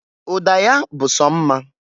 Ude ya bụ so mma.